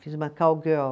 Fiz uma cowgirl.